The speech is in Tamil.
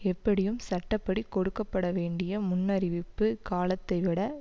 எப்படியும் சட்ட படி கொடுக்க பட வேண்டிய முன்னறிவிப்பு காலத்தை விட